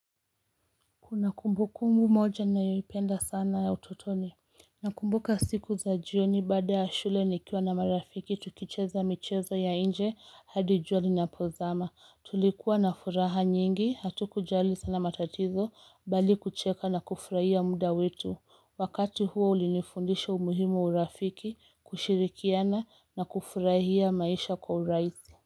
Kuna kumbukumbu moja nayoipenda sana ya utotoni Nakumbuka siku za jioni baada ya shule nikiwa na marafiki tukicheza michezo ya inje hadi jua linapozama tulikuwa na furaha nyingi hatuku jali sana matatizo bali kucheka na kufurahia muda wetu wakati huo ulinifundisha umuhimu wa urafiki kushirikiana na kufurahia maisha kwa urahisi.